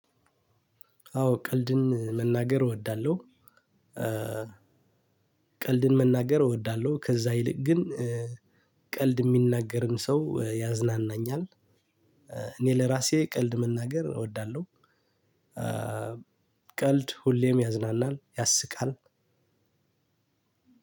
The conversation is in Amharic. አዎ ቀልድን መናገር እወዳለሁ። ቀልድን መናገር እወዳለሁ ከዛ ይልቅ ግን ቀልድ ሚናገርም ሰው ያዝናናኛል። እኔ ለራሴ ቀልድ መናገር እወዳለሁ። ቀልድ ሁሌም ያዝናናል ያስቃል።